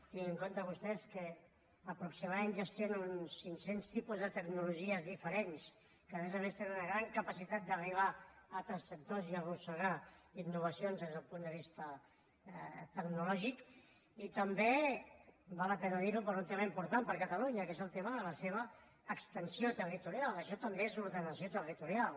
tinguin en compte vostès que aproximadament gestionen uns cinc cents tipus de tecnologies diferents que a més a més tenen una gran capacitat d’arribar a altres sectors i arrossegar innovacions des del punt de vista tecnològic i també val la pena dir ho per un tema important per a catalunya que és el tema de la seva extensió territorial això també és ordenació territorial